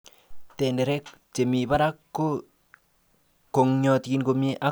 Tenderek chemi barak ko kong'otin komie ok yomiotin.